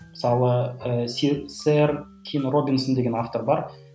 мысалы ы сэр кин робинсон деген автор бар